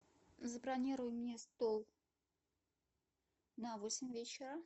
забронируй мне стол на восемь вечера